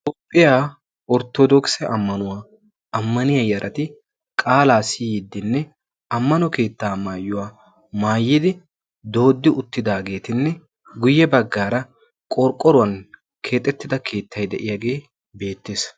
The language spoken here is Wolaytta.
Toophphiyaa orttoodokise ammanuwaa ammaniya yarati qaalaa siyiiddinne ammano keettaa maayyuwaa maayyidi doodi uttidaageetinne guyye baggaara qorqqoruwan keexettida keettai de'iyaagee beettees.